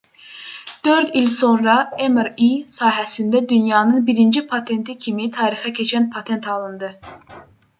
4 il sonra mri sahəsində dünyanın birinci patenti kimi tarixə keçən patent alındı